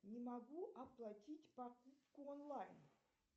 не могу оплатить покупку онлайн